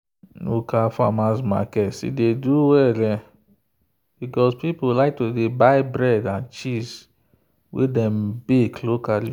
local farmers market still dey do well because people like to buy bread and cheese wey dem bake locally.